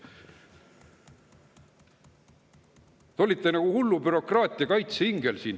Te olite siin nagu hullu bürokraatia kaitseingel.